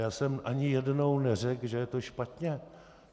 Já jsem ani jednou neřekl, že je to špatně.